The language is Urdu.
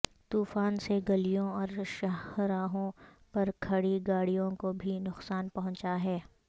طوفان سے گلیوں اور شاہراہوں پر کھڑی گاڑیوں کو بھی نقصان پہنچا ہے